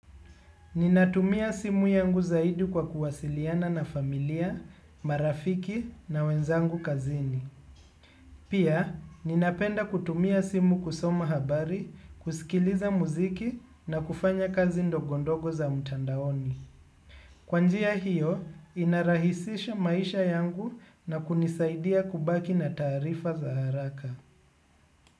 Ninatumia simu yangu zaidi kwa kuwasiliana na familia, marafiki na wenzangu kazini. Pia, ninapenda kutumia simu kusoma habari, kusikiliza muziki na kufanya kazi ndogondogo za mtandaoni. Kwa njia hiyo, inarahisisha maisha yangu na kunisaidia kubaki na taarifa za haraka.